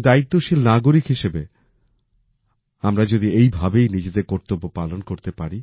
একজন দায়িত্বশীল নাগরিক হিসেবে আমরা যদি এই ভাবেই নিজেদের কর্তব্য পালন করতে পারি